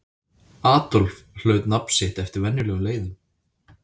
Adolf hlaut nafn sitt eftir venjulegum leiðum.